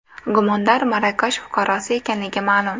Gumondor Marokash fuqarosi ekanligi ma’lum.